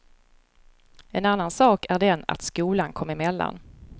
En annan sak är den att skolan kom emellan.